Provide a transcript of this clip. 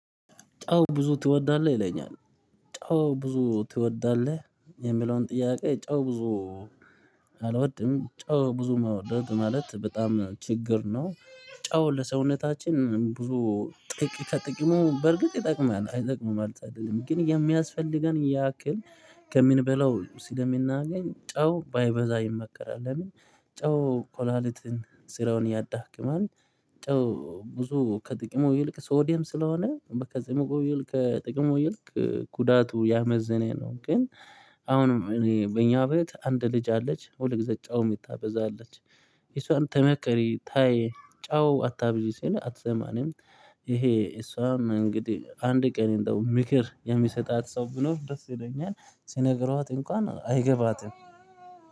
ጨው ብዙ ትወዳለህ? ይለኛል። ጨው ብዙ ትወዳለህ የሚለውን ጥያቄ ጨው ብዙ? አልወድም ጨው ብዙ መውደድ ማለት በጣም ችግር ነው። ጨው ለሰውነታችን ብዙ ጥቅም ከጥቅሙ በርግጥ ይጠቅማል አይጠቅምም ማለት አይደለም ግን የሚያስፈልገን ያክል። ከምንበላው ስለምናገኝ ጨው ባይበዛ ይመከራል። ለምን ጨው ኩላሊትን ስራውን ያዳክማል። ጨው ብዙ ከጥቅሙ ይልቅ ሶዲየም ስለሆነ ክጥቅሙ ይልቅ ከጥቅሙ ይልቅ ጉዳቱ ያመዘነ ነው። ግን። አሁን እኔ በኛ ቤት አንድ ልጅ አለች ሁልጊዜ ጫው ምታበዛ አለች። እሱውን ተመከሪ ታይ ጫው አታብዢ ሲል አትሰማንም። ይሄ እሷም እንግዲህ አንድ ቀን እንደው ምክር የሚሰጣት ሰው ብኖር ደስ ይለኛል ሲነግረውት እንኳን አይገባትም